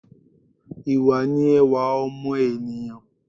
Ìwà ni ẹwà ọmọ ènìyãn